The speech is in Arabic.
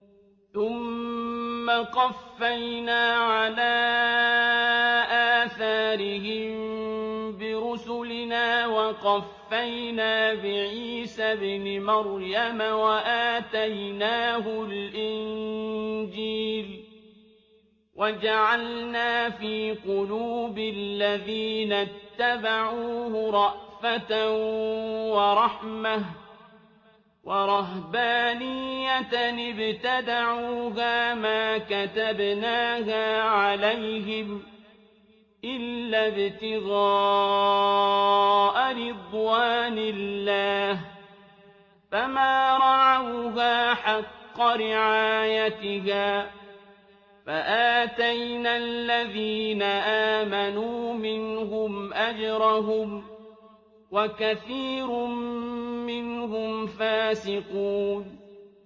ثُمَّ قَفَّيْنَا عَلَىٰ آثَارِهِم بِرُسُلِنَا وَقَفَّيْنَا بِعِيسَى ابْنِ مَرْيَمَ وَآتَيْنَاهُ الْإِنجِيلَ وَجَعَلْنَا فِي قُلُوبِ الَّذِينَ اتَّبَعُوهُ رَأْفَةً وَرَحْمَةً وَرَهْبَانِيَّةً ابْتَدَعُوهَا مَا كَتَبْنَاهَا عَلَيْهِمْ إِلَّا ابْتِغَاءَ رِضْوَانِ اللَّهِ فَمَا رَعَوْهَا حَقَّ رِعَايَتِهَا ۖ فَآتَيْنَا الَّذِينَ آمَنُوا مِنْهُمْ أَجْرَهُمْ ۖ وَكَثِيرٌ مِّنْهُمْ فَاسِقُونَ